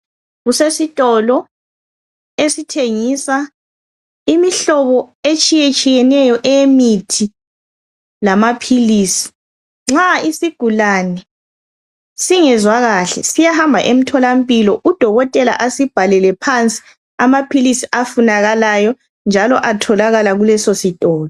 Kusesitolo esitshengisa imihlobo etshiyetshiyeneyo eyemithi lamaphilisi. Nxa isigulane singezwa kahle siyahamba eMtholampilo udokotela asibhalele phansi amaphilisi afunakalayo, njalo atholakala kulesisitolo.